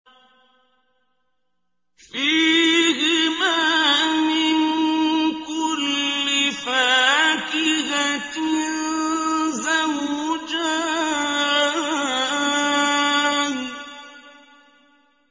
فِيهِمَا مِن كُلِّ فَاكِهَةٍ زَوْجَانِ